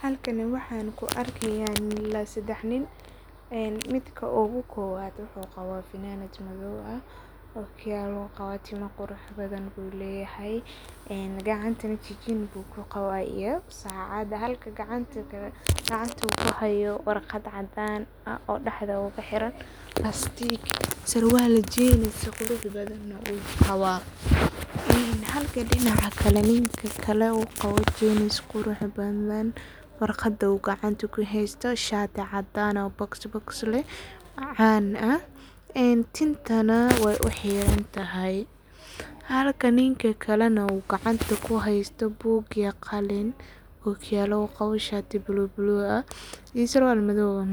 Halkani waxan ku arkaya ila sedex nin midka ogu kowad wuxu qawa funanad madow okiyalu qabaa ,timo qurux badan bu leyahay ,gacantu ku qaba jijin iyo sacad halka gacanta kale u kuhayo warqad uu daxda kahire, surwal jins oo qurux badan uu qawa. Halka dinaca kalena ninka u qawo jins qurux badan iyo shatii cadan ah oo bokis bokis ah macan ah ,tintana waay u xirantahay .Halka ninka kalena uu gacanta kuhesto buug iyo qalin okiyalo uu qawo ,shatii bulug ah surwal madow ah,